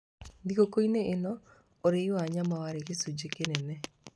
Thigũkũ-inĩ ĩno, ũrĩi wa nyama warĩ gĩcunjĩ kĩnene.